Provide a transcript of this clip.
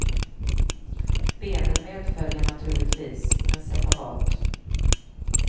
Benen medföljer naturligtvis, men separat.